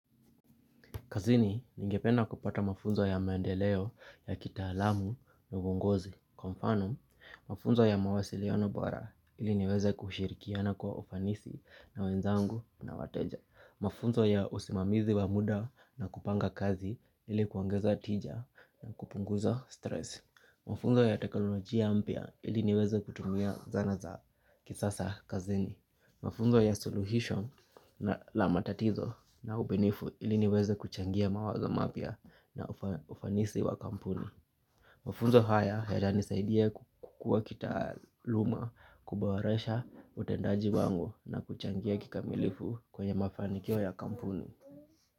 Kazini ningependa kupata mafunzo ya mendeleo ya kitaalamu na uongozi. Kwa mfano, mafunzo ya mawasiliano bora ili niweze kushirikiana kwa ufanisi na wenzangu na wateja. Mafunzo ya usimamizi wa muda na kupanga kazi ili kuongeza tija na kupunguza stress. Mafunzo ya teknolojia mpya ili niweze kutumia zana za kisasa kazini. Mafunzo ya suluhisho na la matatizo na ubunifu ili niweze kuchangia mawazo mapya na ufanisi wa kampuni. Mafunzo haya yatanisaidia kukua kitaaluma kuboresha utendaji wangu na kuchangia kikamilifu kwenye mafanikiwa ya kampuni.